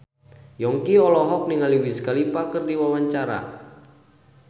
Yongki olohok ningali Wiz Khalifa keur diwawancara